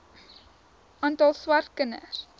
aantal swart kinders